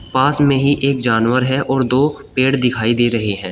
पास में ही एक जानवर है और दो पेड़ दिखाई दे रहे है।